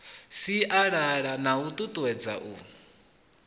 sialala na u tutuwedza u